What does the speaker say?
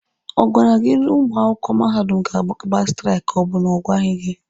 Ọ gwara gị na ụmụ akwụkwọ mahadum ga-agba straiki ka ọ bụ ọ gwaghị gị?